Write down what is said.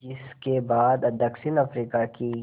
जिस के बाद दक्षिण अफ्रीका की